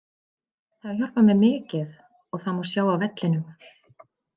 Það hefur hjálpað mér mikið og það má sjá á vellinum.